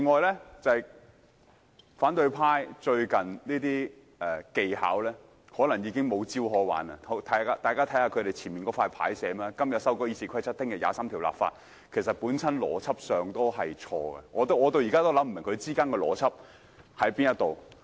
此外，反對派最近的技巧，可能顯示他們已黔驢技窮，大家看看他們桌前的展示板，所寫的是"今日改《議事規則》，明天23條立法"，其實在邏輯上已經錯，我至今仍想不通當中的邏輯為何。